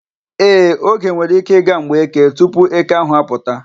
Ee, oge nwere ike ịga mgbe Eke tupu eke ahụ apụta.